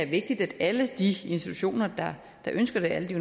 vigtigt at alle de institutioner der ønsker det alle de